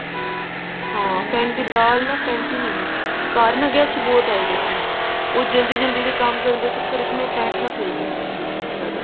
ਹਾਂ ਦਾਲ ਨਾ ਫੇਂਟੀ ਨੀ ਹੋਣਾ ਘਰ ਨਾ guest ਬਹੁਤ ਆਏ ਹੋਏ ਸੀ ਉਹ ਜਲਦੀ ਜਲਦੀ ਦੇ ਕੰਮ ਕਰਨ ਦੇ ਚੱਕਰ ਚ ਫੇਟਨਾ ਭੁੱਲ ਗਈ ਹੋਵਾਂਗੀ ਜਿਆਦਾ